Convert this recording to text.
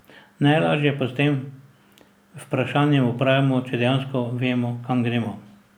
Najlažje pa s tem vprašanjem opravimo, če dejansko vemo, kam gremo.